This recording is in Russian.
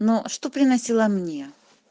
но что приносило мне